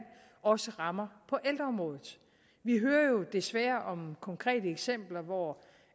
også rammer på ældreområdet vi hører jo desværre om konkrete eksempler hvor